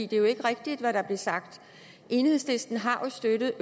det er jo ikke rigtigt hvad der blev sagt enhedslisten har jo støttet